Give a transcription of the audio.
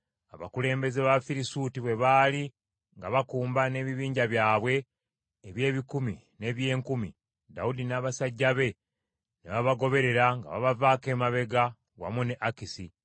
Abakulembeze b’Abafirisuuti bwe baali nga bakumba n’ebibinja byabwe eby’ebikumi n’eby’enkumi, Dawudi n’abasajja be ne babagoberera nga babavaako emabega wamu ne Akisi.